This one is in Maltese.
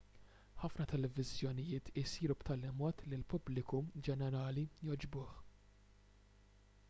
ħafna televiżjonijiet isiru b'tali mod li l-pubbliku ġenerali jogħġbuh